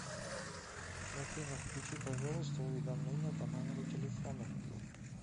афина включи пожалуйста уведомления по номеру телефона